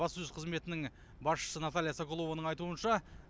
баспасөз қызметінің басшысы наталия соколованың айтуынша